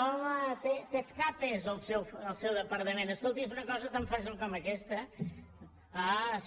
home té escapades el seu departament escolti és una cosa tan fàcil com aquesta